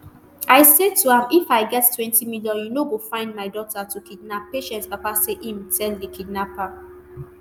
i say to am if i get twenty million you no go find my daughter to kidnap patience papa say im tell di kidnapper